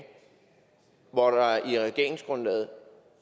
hvor der i regeringsgrundlaget